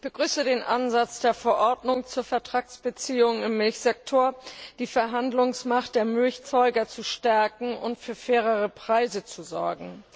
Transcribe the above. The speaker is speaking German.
Ich begrüße den Ansatz der Verordnung zu den Vertragsbeziehungen im Milchsektor, die Verhandlungsmacht der Milcherzeuger zu stärken und für fairere Preise zu sorgen.